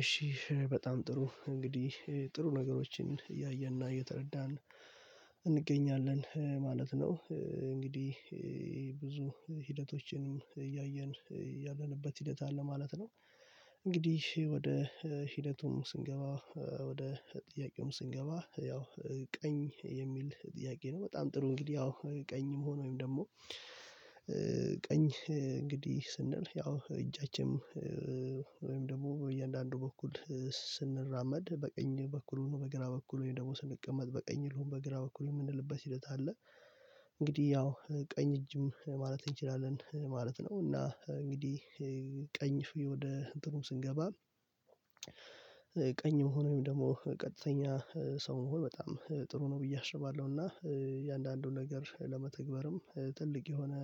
እሺ በጣም ጥሩ እንግዲህ ጥሩ ነገሮችን እያየንና እየተረዳን እንገኛለን ማለት ነው። እንግዲህ ብዙ ሂደቶችንም እያየን ያለንበት ሂደት አለ ማለት ነው። እንግዲህ ወደ ሂደቱም ስንገባ ወደ ጥያቄውም ስንገባ ያው ቀኝ የሚል ጥያቄ ነው። በጣም ጥሩ እንግዲህ ያው ቀኝም ሆኖ ወይም ደግሞ ቀኝ እንግዲህ ስንል ያው እጃችንም ወይም ደግሞ በእያንዳንዱ በኩል ስንራመድ በቀኝ በኩል ሆኖ በግራ በኩል ወይም ደግሞ ስንቀመጥ በቀኝ ሆኖ በግራ በኩል የምንልበት ሂደት አለ። እንግዲህ ያው ቀኝ እጅም ማለት እንችላለን ማለት ነው። እና እንግዲህ ቀኝ ወደ ጥሩ ስንገባ ቀኝ መሆኑን ደግሞ ቀጥተኛ ሰው መሆን በጣም ጥሩ ነው ብዬ አስባለሁ። እና የእያንዳንዱን ነገር ለመተግበርም ትልቅ የሆነ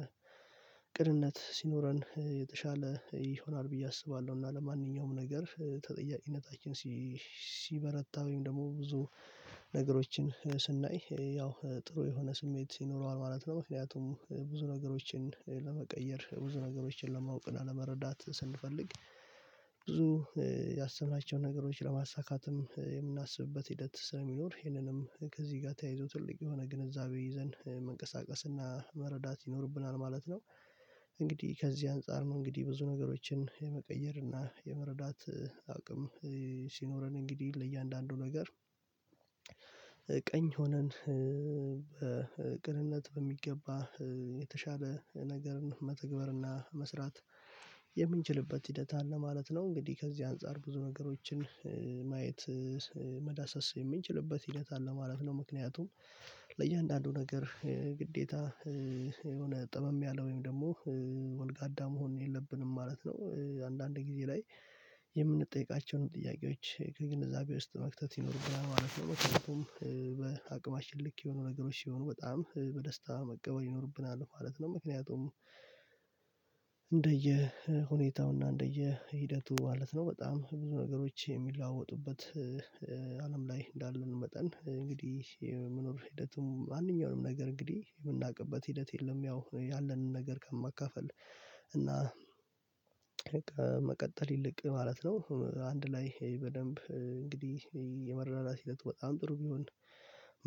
ቅንነት ሲኖረን የተሻለ ይሆናል ብዬ አስባለሁ። እና ለማንኛውም ነገር ተጠያቂነታችን ሲበረታ ወይም ደግሞ ብዙ ነገሮችን ስናይ ያው ጥሩ የሆነ ስሜት ይኖረዋል ማለት ነው። ምክንያቱም ብዙ ነገሮችን ለመቀየር ብዙ ነገሮችን ለማወቅ እና ለመረዳት ስንፈልግ ብዙ ያሰብናቸውን ነገሮች ለማሳካትም የምናስብበት ሂደት ስለሚኖር ይሄንንም ከዚህ ጋር ተያይዞ ትልቅ የሆነ ግንዛቤ ይዘን መንቀሳቀስና መረዳት ይኖርብናል ማለት ነው። እንግዲህ ከዚህ አንፃር ነው እንግዲህ ብዙ ነገሮችን የመቀየርና የመረዳት አያውቅም ሲኖረን እንግዲህ ለእያንዳንዱ ነገር ቀኝ ሆነን በቅንነት በሚገባ የተሻለ ነገርን መተግበርና መስራት የምንችልበት ሂደት አለ ማለት ነው። እንግዲህ ከዚህ አንፃር ብዙ ነገሮችን ማየት መዳሰስ የምንችልበት ሂደት አለ ማለት ነው። ምክንያቱም ለእያንዳንዱ ነገር ግዴታ የሆነ ጠመም ያለ ወይም ደግሞ ወልጋዳ መሆን የለብንም ማለት ነው። አንዳንድ ጊዜ ላይ የምንጠይቃቸውን ጥያቄዎች ከግንዛቤ ውስጥ መክተት ይኖርብናል ማለት ነው። ምክኒያቱም በአቅማችን ልክ የሆኑ ነገሮች ሲሆኑ በጣም በደስታ መቀበል ይኖርብናል ማለት ነው። ምክንያቱም ሁኔታውና እንደየ ሂደቱ ማለት ነው። በጣም ብዙ ነገሮች የሚለዋወጡበት አለም ላይ እንዳለን መጠን እንግዲህ የመኖር ሂደትም አንደኛውንም ነገር እንግዲህ የምናውቅበት ሂደት የለም ያው ያለንን ነገር ከማካፈል እና ከመቀጠል ይልቅ ማለት ነው። አንድ ላይ በደንብ እንግዲህ የመረዳዳት ሒደቱ በጣም ጥሩ ቢሆን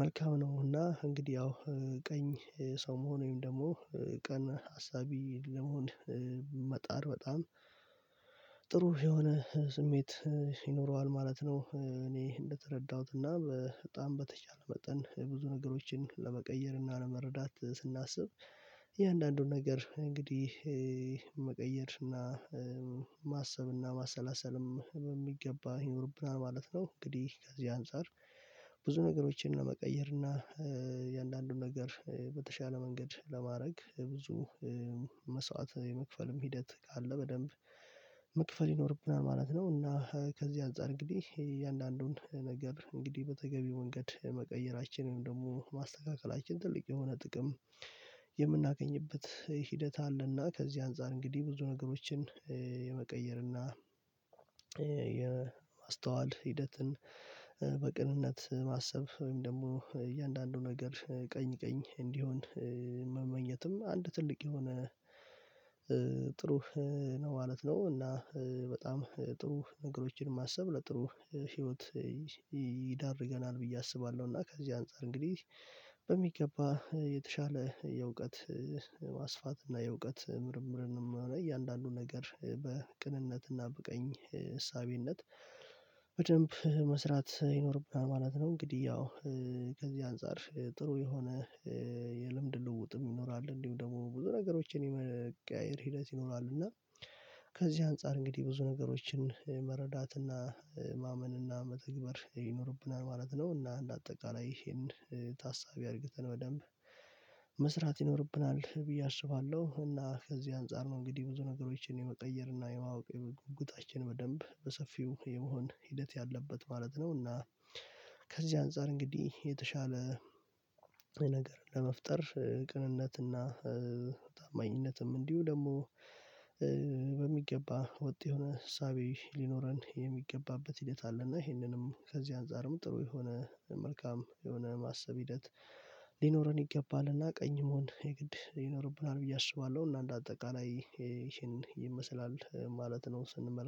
መልካም ነው። እና እንግዲህ ያው ቀኝ ሰው መሆን ወይም ደግሞ ቅን ሀሳቢ ለመሆን መጣር በጣም ጥሩ የሆነ ስሜት ይኖረዋል ማለት ነው። እኔ እንደተረዳሁት እንደተረዳሁትና በጣም በተቻለ መጠን ብዙ ነገሮችን ለመቀየርና ለመረዳት ስናስብ የእያንዳንዱን ነገር እንግዲህ መቀየር እና ማሰብ እና ማሰላሰልም በሚገባ ይኖርብናል ማለት ነው። እንግዲህ ከዚህ አንፃር ብዙ ነገሮችን ለመቀየር እና የእያንዳንዱን ነገር በተሻለ መንገድ ለማድረግ ብዙ መስዋዕት የመክፈልም ሂደት ካለ በደንብ መክፈል ይኖርብናል ማለት ነው። እና ከዚህ አንፃር እንግዲህ የእያንዳንዱን ነገር እንግዲህ በተገቢ መንገድ መቀየራችን ወይም ደግሞ ማስተካከላችን ትልቅ የሆነ ጥቅም የምናገኝበት ሂደት አለና ከዚህ አንፃር እንግዲህ ብዙ ነገሮችን የመቀየርና የማስተዋል ሂደትን በቅንነት ማሰብ ወይም ደግሞ እያንዳንዱ ነገር ቀኝ ቀኝ እንዲሆን መመኘትም አንድ ትልቅ የሆነ ጥሩ ነው ማለት ነው። እና በጣም ጥሩ ነገሮችን ማሰብ ለጥሩ ህይወት ይዳርጋል ብዬ አስባለሁ። እና ከዚህ አንፃር እንግዲህ በሚገባ የተሻለ የእውቀት ማስፋት እና የእውቀት ምርምርንም ሆነ እያንዳንዱ ነገር በቅንነት እና በቀኝ እሳቤነት በደንብ መስራት ይኖርብናል ማለት ነው። እንግዲህ ያው ከዚህ አንፃር ጥሩ የሆነ የልምድ ልውውጥም ይኖራል እንዲሁ ደግሞ ብዙ ነገሮችን የመቀያየር ሂደት ይኖራል። እና ከዚህ አንፃር እንግዲህ ብዙ ነገሮችን መረዳት እና ማመን እና መተግበር ይኖርብናል ማለት ነው። እና እንደ አጠቃላይ ይሄን ታሳቢ አድርገን በደንብ መስራት ይኖርብናል ብዬ አስባለሁ። እና ከዚህ አንፃር ነው እንግዲህ ብዙ ነገሮችን የመቀየር እና የማወቅ ጉጉታችን በደንብ በሰፊው የመሆን ሂደት ያለበት ማለት ነው። እና ከዚህ አንፃር እንግዲህ የተሻለ ነገር ለመፍጠር ቅንነትና ታማኝነትም እንዲሁ ደግሞ በሚገባ ወጥ የሆነ እሳቤ ሊኖረን የሚገባበት ሂደት አለ። እና ይሄንንም ከዚህ አንፃርም ጥሩ የሆነ መልካም የሆነ ማሰብ ሂደት ሊኖረን ይገባልና ቀኝ መሆን የግድ ይኖርብናል ብዬ አስባለሁ። እና እንደ አጠቃላይ ይሄን ይመስላል ማለት ነው። ስንመለከት